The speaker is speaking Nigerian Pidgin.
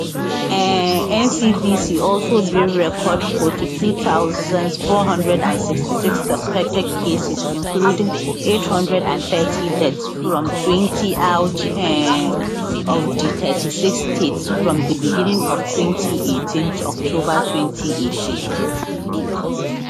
um ncdc also bin record 42466 suspected cases including 830 deaths fromtwentyout um of di 36 states from di beginning of 2018 to october 2018